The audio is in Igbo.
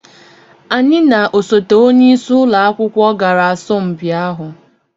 anyị na osote onye isi ụlọ akwụkwọ gara asọmpi ahụ